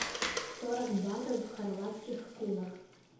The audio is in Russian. сорок батов в хорватских кунах